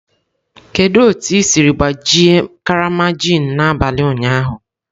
Kedu otu i siri gbajie karama gin n'abalị ụnyaahụ?